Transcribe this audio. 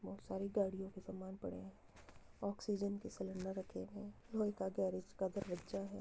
बहुत सारी गाड़ियों के सामान पड़े हैं। ऑक्सीजन के सिलिंडर रखे हुए हैं। लोहे का गैरेज का दरवज्जा है।